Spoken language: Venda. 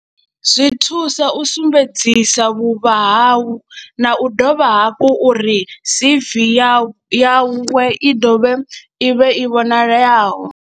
Zwi thusa u sumbedzisa vhuvha hau na u do vha hafhu uri C_V yawe i dovhe i vhe i vhonalaho.